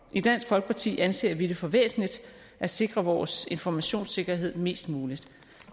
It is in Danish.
i dansk folkeparti anser vi det for væsentligt at sikre vores informationssikkerhed mest muligt